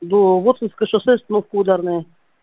до воткинское шоссе остановка ударная